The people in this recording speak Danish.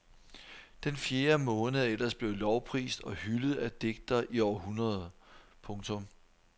Den fjerde måned er ellers blevet lovprist og hyldet af digtere i århundreder. punktum